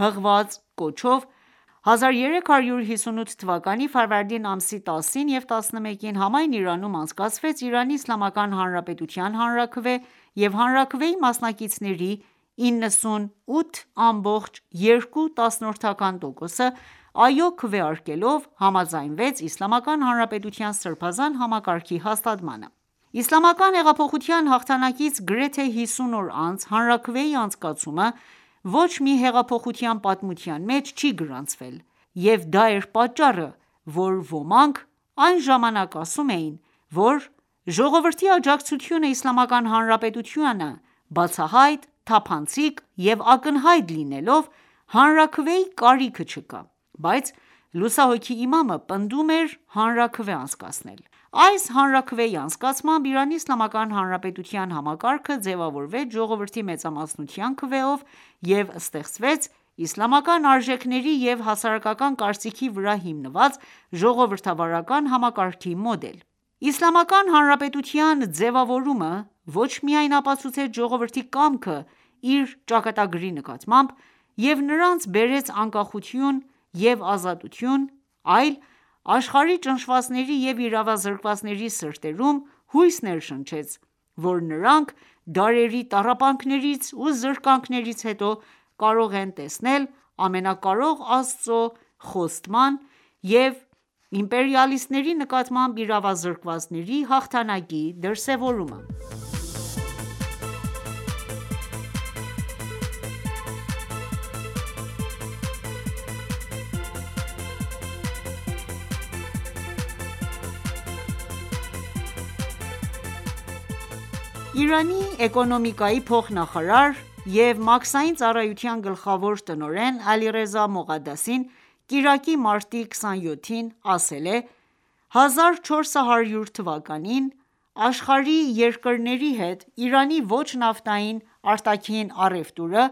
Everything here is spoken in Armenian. հղած կոչով ,1358 թվականի ամսի 10-ին և 11-ին համայն Իրանում անցկացվեց Իրանի Իսլամական Հանրապետության հանրաքվե,և հանրաքվեի մասնակիցների 98.2 տոկոսը «այո» քվեարկելով, համաձայնեց Իսլամական Հանրապետության սրբազան համակարգի հաստատմանը։ Իսլամական հեղափոխության հաղթանակից գրեթե 50 օր անց հանրաքվեի անցկացումը ոչ մի հեղափոխության պատմության մեջ չի գրանցվել և դա էր պատճառը, որ ոմանք այն ժամանակ ասում էին, որ ժողովրդի աջակցությունը Իսլամական Հանրապետությանը, բացահայտ, թափանցիկ ու ակնհայտ լինելով, հանրաքվեի կարիքը չկա, բայց լուսահոգի Իմամը պնդում էր հանրաքվե անցկացնել։ Այս հանրաքվեի անցկացմամբ, Իրանի Իսլամական Հանրապետության համակարգը ձևավորվեց ժողովրդի մեծամասնության քվեով և ստեղծվեց իսլամական արժեքների և հասարակական կարծիքի վրա հիմնված ժողովրդավարական համակարգի մոդել։ Իսլամական Հանրապետության ձևավորումը ոչ միայն ապացուցեց ժողովրդի կամքը իր ճակատագրի նկատմամբ և նրանց բերեց անկախություն և ազատություն, այլ աշխարհի ճնշվածների և իրավազրկվածների սրտերում հույս ներշնչեց, որ նրանք դարերի տառապանքներից ու զրկանքներից հետո կարող են տեսնել Ամենակարող Աստծո խոստման և իմպերիալիստների նկատմամբ իրավազկրվածների հաղթանակի դրսևորումը: Իրանի էկոնոմիկայի փոխնախարար և մաքսային ծառայության գլխավոր տնօրեն Ալիռեզա Մողադասին կիրակի մարտի 27-ին, ասել է.«1400 թվականին աշխարհի երկրների հետ ,Իրանի ոչ նավթային արտաքին առևտուրը